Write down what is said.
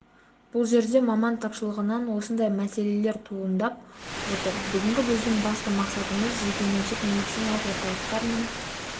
бұл жерде маман тапшылығынан осындай мәселелер туындап отыр бүгінгі біздің басты мақсатымыз жеке-меншік медициналық орталықтар мен